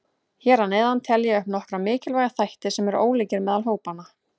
Hér að neðan tel ég upp nokkra mikilvæga þætti sem eru ólíkir meðal hópanna.